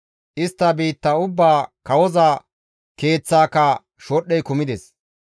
Istta biitta ubbaa kawoza keeththaaka shodhdhey kumides.